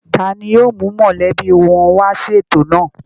Ta ni yóò mú mọ̀lẹ́bí wọn wá sí ètò náà?